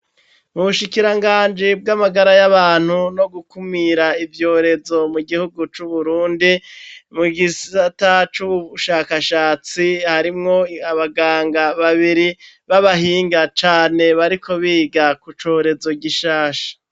Mu bushikiranganji bw'amagara y'abantu no gukumira ivyorezo mu gihugu c'Uburundi, mu gisata c'ubushakashatsi harimwo abaganga babiri b'abahinga cane bariko biga k'ucorezo gishasha.